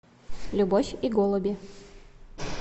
любовь и голуби